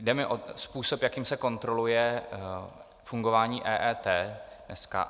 Jde mi o způsob, jakým se kontroluje fungování EET dneska.